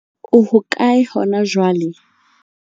O hokae hona jwale?